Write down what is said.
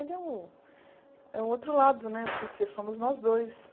Ele é o é o outro lado né, porque somos nós dois.